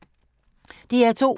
DR2